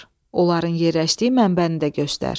Onların yerləşdiyi mənbəni də göstər.